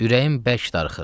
Ürəyim bərk darıxır.